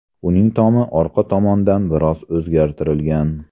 Uning tomi orqa tomondan biroz o‘zgartirilgan.